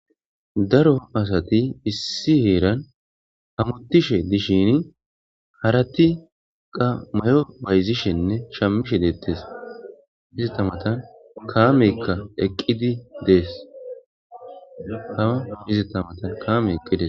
daro asati issi heeran hamutishe dishini harati qa may7o bayzishenne shammishe deettes hiztamatan kaameykka eqqidi dees hama miztamatan kaame eqqides